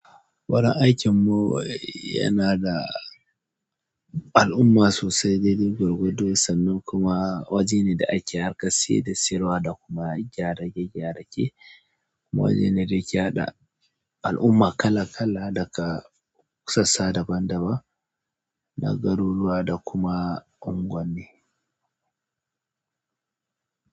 Wurin aikin mu yana da al'umma sosai, daidai kwargwado sannan kuma waje ne da ake harkar siya da siyarwa da kuma gyara, gyare-gyare de kuma waje ne da ke haɗa al'umma kala kala daga ƙasasa daban-daban na garuruwa da kuma unguwanni.